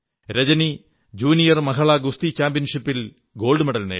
Rajani junior മഹിളാ ഗുസ്തി ചാമ്പ്യൻഷിപ്പിൽ സ്വർണ്ണ മെഡൽ നേടി